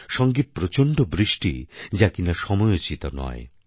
সঙ্গে প্রচণ্ড বৃষ্টি যা কিনা সময়োচিত নয়